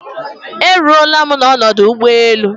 E ruola m n'ọdụ ụgbọelụ